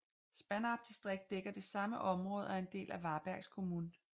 Spannarp distrikt dækker det samme område og er en del af Varbergs kommun